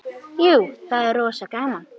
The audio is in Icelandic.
Jú, það er rosa gaman.